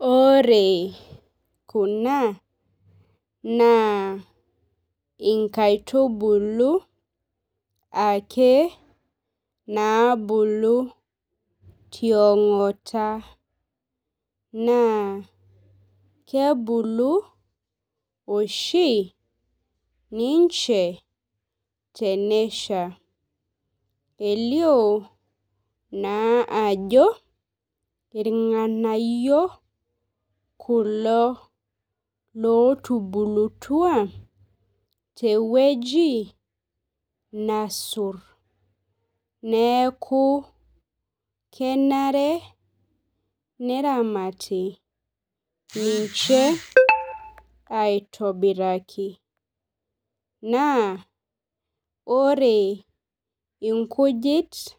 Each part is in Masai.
Ore kuna na inkaitubulu ake nabulu tiongata na kebulu oshi ninche tenesha elio naa ajo irnganayio kulo lotubulutua tewueji naasur neaku kenare neramati ninche aitobiraki naa ore inkujit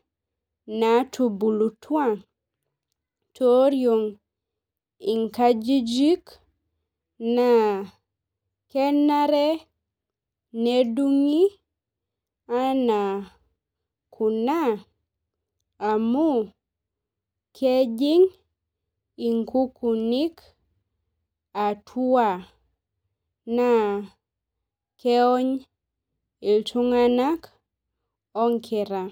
natubulutua tioriong inkajijik na kenare nedungi anaa kuna amu kejing i kukunik atua na keony ltunganak onkera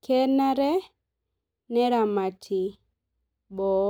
kenare neramati boo